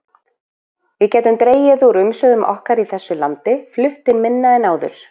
Við gætum dregið úr umsvifum okkar í þessu landi, flutt inn minna en áður.